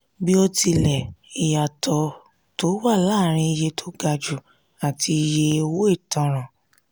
bíótilẹ ìyàtọ̀ tó wà láàárín iye tó ga jù àti iye owó ìtanràn.